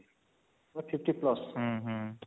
ମାନେ 50 plus